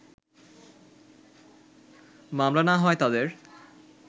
মামলা না হওয়ায় তাদের